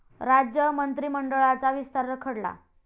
राज्य मंत्रिमंडळाचा विस्तार रखडला?